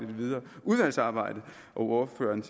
det videre udvalgsarbejde og ordføreren